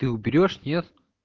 ты уберёшь нет